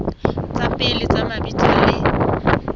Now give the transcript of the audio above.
tsa pele tsa mabitso le